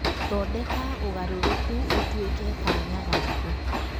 Thondeka ũgarũrũku ũtuĩke kanya gaku.